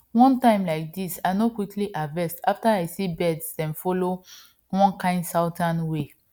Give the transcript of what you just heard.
one time like dis i no quick harvest after i see birds dem follow one kind southern way